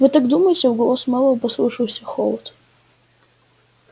вы так думаете в голосе мэллоу послышался холод